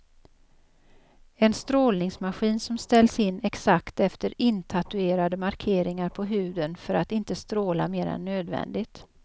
En strålningsmaskin som ställs in exakt efter intatuerade markeringar på huden för att inte stråla mer än nödvändigt.